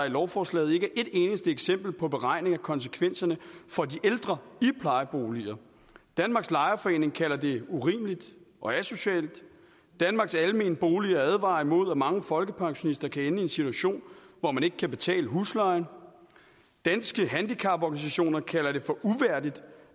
i lovforslaget ikke er et eneste eksempel på en beregning af konsekvenserne for de ældre i plejeboliger danmarks lejerforeninger kalder det urimeligt og asocialt danmarks almene boliger advarer imod at mange folkepensionister kan ende i en situation hvor man ikke kan betale huslejen danske handicaporganisationer kalder det for uværdigt